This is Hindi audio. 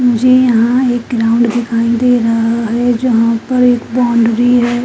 यहाँ एक ग्राउंड दिखाई दे रहा है जहाँ पर एक बाउंडरी है।